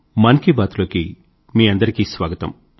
మన్ కీ బాత్ లోకి మీ అందరికీ స్వాగతం